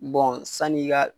sanni i ka